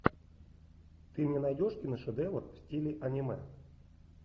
ты мне найдешь киношедевр в стиле аниме